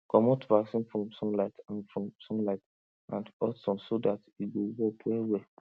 commot vaccine from sunlight and from sunlight and hot sun so that e go work well well